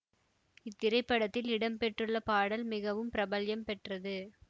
இத்திரைபடத்தில் இடம் பெற்றுள்ள பாடல் மிகவும் பிரபல்யம் பெற்றது